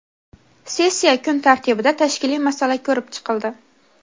Sessiya kun tartibida tashkiliy masala ko‘rib chiqildi.